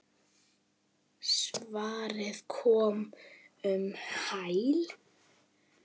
Svarið kom um hæl.